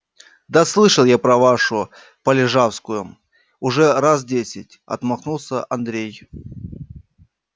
да слышал я про вашу полежавскую уже раз десять отмахнулся андрей